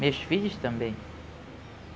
Meus filhos também.